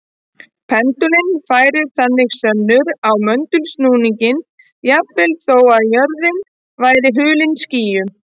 Pendúllinn færir þannig sönnur á möndulsnúninginn jafnvel þó að jörðin væri hulin skýjum.